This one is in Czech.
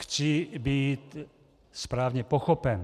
Chci být správně pochopen.